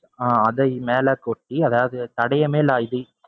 ஆஹ் அதை மேல கொட்டி, அதாவது தடயமே